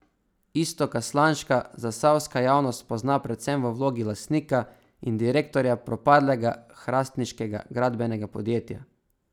Iztoka Slanška zasavska javnost pozna predvsem v vlogi lastnika in direktorja propadlega hrastniškega gradbenega podjetja.